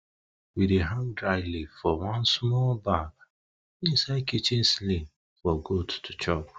we dey hang dry leaf for one smol bag inside kitchen ceiling for goat to chop